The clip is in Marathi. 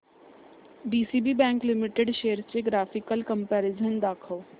डीसीबी बँक लिमिटेड शेअर्स चे ग्राफिकल कंपॅरिझन दाखव